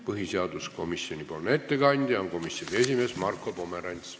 Põhiseaduskomisjoni ettekandja on komisjoni esimees Marko Pomerants.